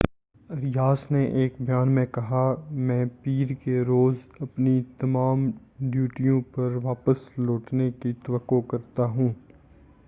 Arias نے ایک بیان میں کہا میں پیر کے روز اپنی تمام ڈیوٹیوں پر واپس لوٹنے کی توقع کرتا ہوں ۔